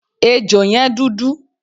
Ejò yẹn dúdú.